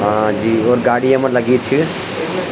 हाँ जी और गाडी येमा लगीं च।